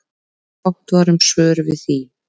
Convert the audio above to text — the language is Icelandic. Fátt var um svör við því.